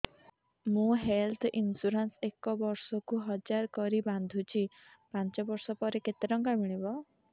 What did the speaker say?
ମୁ health insurance ଏକ ବର୍ଷକୁ ହଜାର କରି ବାନ୍ଧୁଛି ପାଞ୍ଚ ବର୍ଷ ପରେ କେତେ ଟଙ୍କା ମିଳିବ